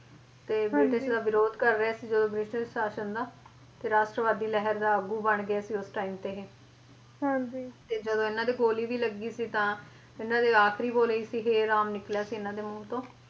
ਤੇ ਬ੍ਰਿਟਿਸ਼ ਦਾ ਵਿਰੋਧ ਕਰ ਰਹੇ ਸੀ ਜਦੋਂ ਬ੍ਰਿਟਿਸ਼ ਸ਼ਾਸ਼ਨ ਦਾ ਫੇਰ ਰਾਸ਼ਟਰਵਾਦੀ ਲਹਿਰ ਦਾ ਆਗੂ ਬਣ ਗਏ ਸੀ ਉਸ time ਤੇ ਤੇ ਜਦੋਂ ਇਹਨਾਂ ਦੇ ਗੋਲੀ ਵੀ ਲੱਗੀ ਸੀ ਤਾਂ ਇਹਨਾਂ ਦੇ ਆਖਰੀ ਬੋਲ ਇਹੀ ਸੀ ਹੇ ਰਾਮ ਨਿਕਲਿਆ ਸੀ ਇਹਨਾਂ ਦੇ ਮੂੰਹ ਤੋਂ।